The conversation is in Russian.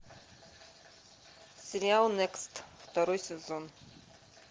сериал некст второй сезон